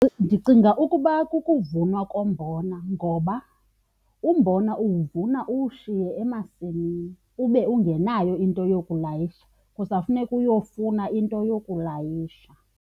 Ndicinga ukuba kukuvunwa kombona ngoba umbona uwuvuna uwushiye emasini ube ungenayo into yokulayisha, kusafuneka uyofuna into yokulayisha.